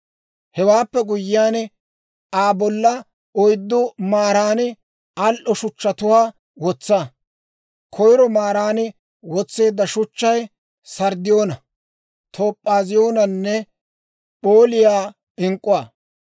Hewaappe guyyiyaan Aa bolla oyddu maaran al"o shuchchatuwaa wotsa; koyro maaran wotseedda shuchchay, sarddiyoona, toop'aaziyooniyaanne p'ooliyaa ink'k'uwaa.